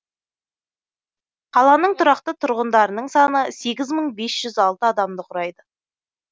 қаланың тұрақты тұрғындарының саны сегіз мың бес жүз алтыадамды құрайды